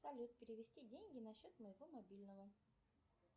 салют перевести деньги на счет моего мобильного